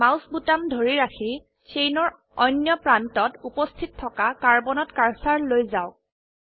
mouse বোতাম ধৰি ৰাখি চেইনৰ অনয় প্ৰান্তত উপস্থিত থকা কাৰ্বনত কাৰ্সাৰ লৈ যাওক